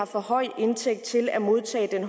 for høj indtægt til at modtage den